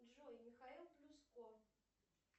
джой михаил плюско